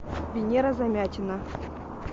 венера замятина